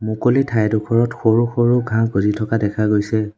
মুকলি ঠাইডোখৰত সৰু সৰু ঘাঁহ গজি থকা দেখা গৈছে।